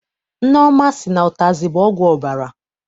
Nneọma sị na ụtazị bụ ọgwụ ọbara.